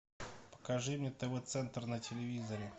покажи мне тв центр на телевизоре